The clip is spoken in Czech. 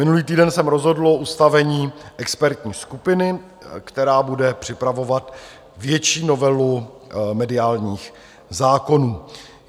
Minulý týden se rozhodlo o ustavení expertní skupiny, která bude připravovat větší novelu mediálních zákonů.